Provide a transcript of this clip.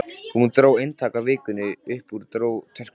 Hún dró eintak af Vikunni upp úr töskunni sinni.